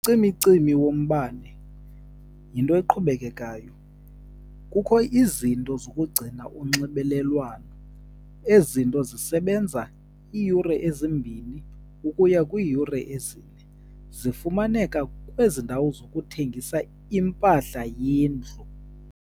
Ucimicimi wombane yinto eqhubekekayo. Kukho izinto zokugcina unxibelelwano. Ezi zinto zisebenza iiyure ezimbini ukuya kwiiyure ezine. Zifumaneka kwezi ndawo zokuthengisa impahla yendlu.